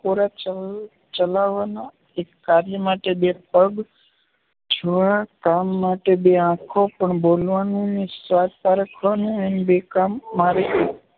નસકોરાં ચાલ ચલાવવાના એક કાર્ય માટે બે પગ, જોવાના કામ માટે બે આંખો, પણ બોલવાનું ને સ્વાદ પારખવાનું એમ બે કામ માટે એકલી જીભની જ નિમણૂક કરવામાં આવી છે.